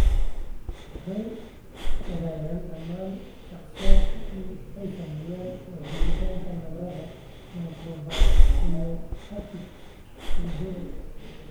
Waxa ay wadaagaan dhammaan shakhsiyaadka ay saamaysay waa joogitaanka nabarada microvasculopathic cerebral.